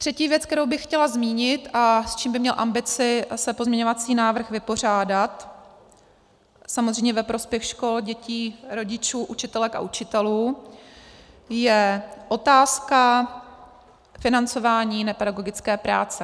Třetí věc, kterou bych chtěla zmínit a s čím by měl ambici se pozměňovací návrh vypořádat, samozřejmě ve prospěch škol, dětí, rodičů, učitelek a učitelů, je otázka financování nepedagogické práce.